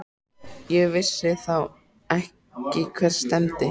Ég vissi þá ekki hvert stefndi.